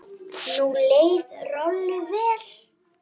Nú leið Rolu vel.